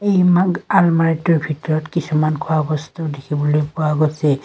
আলমাৰিটোৰ ভিতৰত কিছুমান খোৱা বস্তু দেখিবলৈ পোৱা গৈছে।